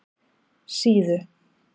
Síðu